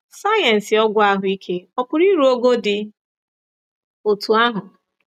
Sayensị ọgwụ ahụike ọ̀ pụrụ iru ogo dị otú ahụ?